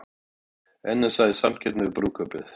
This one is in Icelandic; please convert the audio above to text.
NASA í samkeppni við brúðkaupið